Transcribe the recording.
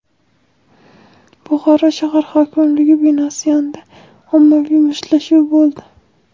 Buxoro shahar hokimligi binosi yonida ommaviy mushtlashuv bo‘ldi.